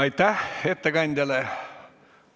Aitäh ettekandjale!